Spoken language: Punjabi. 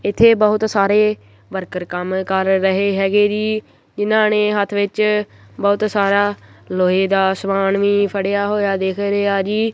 ਇੱਥੇ ਬਹੁਤ ਸਾਰੇ ਵਰਕਰ ਕੰਮ ਕਰ ਰਹੇ ਹੈਗੇ ਜੀ ਜਿਹਨਾਂ ਨੇਂ ਹੱਥ ਵਿੱਚ ਬਹੁਤ ਸਾਰਾ ਲੋਹੇ ਦਾ ਸਮਾਨ ਵੀ ਫੜਿਆ ਹੋਇਆ ਦਿੱਖ ਰਿਹਾ ਜੀ।